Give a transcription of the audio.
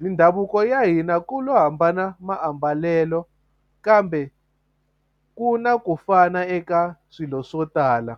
mindhavuko ya hina ku lo hambana maambalelo kambe ku na ku fana eka swilo swo tala.